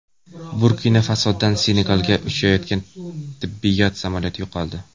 Burkina-Fasodan Senegalga uchayotgan tibbiyot samolyoti yo‘qoldi.